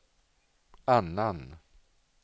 annan